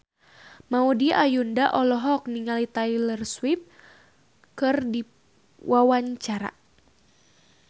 Maudy Ayunda olohok ningali Taylor Swift keur diwawancara